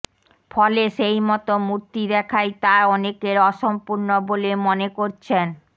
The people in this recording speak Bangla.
ফলে সেই মতো মূর্তি দেখাই তা অনেকের অসম্পূর্ণ বলে মনে করছেন